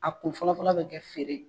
A kun fɔlɔfɔlɔ bɛ kɛ feere